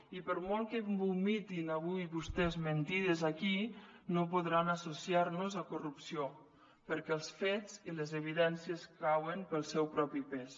i per molt que vomitin avui vostès mentides aquí no podran associarnos a corrupció perquè els fets i les evidències cauen pel seu propi pes